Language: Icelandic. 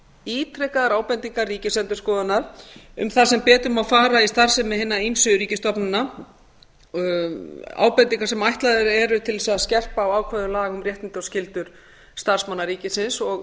ítrekaðar ábendingar ríkisendurskoðunar um það sem betur má fara í starfsemi hinna ýmsu ríkisstofnana ábendingar sem ætlaðar eru til þess að skerpa á ákvæðum laga um réttindi og skyldur starfsmanna ríkisins og